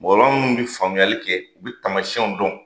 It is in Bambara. Mɔgɔkɔrɔba munnu bi famuyayali kɛ u bi tamasiyɛnw dɔn